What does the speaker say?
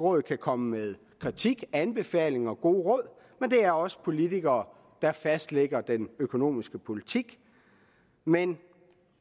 råd kan komme med kritik anbefalinger og gode råd men det er os politikere der fastlægger den økonomiske politik men